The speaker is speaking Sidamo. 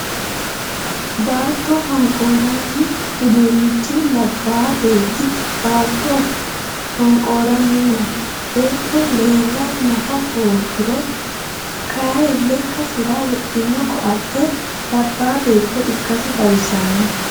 Baatto honqoorrani udiinichi labbaa beetti baatto honqooranni no. Beetto leella nafu hoogiro kayii lekkasira wodhino koatte labbaa beetto ikkasi xawissano.